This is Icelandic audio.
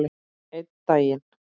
Einn daginn?